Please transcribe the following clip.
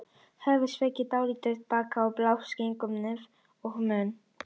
Höfuðið er sveigt dálítið aftur á bak og blásið í gegnum nef og munn.